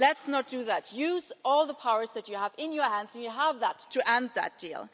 Let's not do that. Use all the powers that you have in your hands and you have those powers to end that deal.